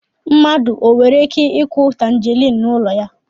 Mmadụ e nwere ike ịkụ tangerine n'ụlọ